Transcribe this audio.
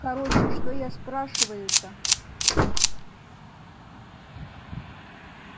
короче что я спрашиваю-то